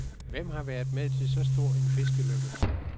Hvem har været med til så stor en fiskelykke.